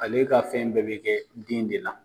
Ale e ka fɛn bɛɛ bi kɛ den de la.